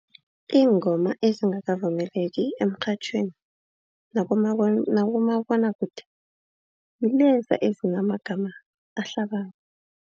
Ingoma ezingakavumeleki emrhatjhweni nakumabonakude ngileza azinamagama ahlabako.